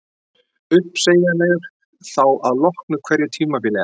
Uppsegjanlegur þá að loknu hverju tímabili eða?